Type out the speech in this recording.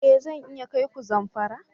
Ee! Zan iya kai ku Zamfara.